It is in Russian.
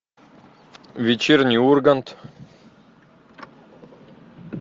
вечерний ургант